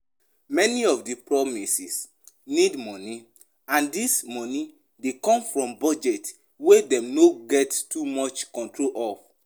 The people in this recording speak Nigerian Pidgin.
Many of di promises need money and this money dey come from budget wey dem no get too much control of